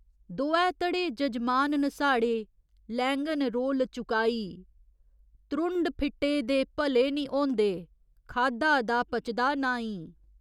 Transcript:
दोऐ धड़े जजमान न साढ़े, लैङन रोल चुकाई त्रुंढ फिट्टे दे भले निं होंदे, खाद्धा दा पचदा नाईं।